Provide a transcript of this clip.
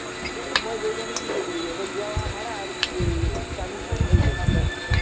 এই মই গৈপিনে কি কৰিলো অকল যোৱা-অহা ভাড়া আৰু এই chow mein খালো হৈ গল বচ